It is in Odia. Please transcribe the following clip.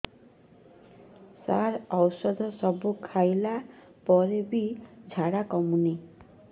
ସାର ଔଷଧ ସବୁ ଖାଇଲା ପରେ ବି ଝାଡା କମୁନି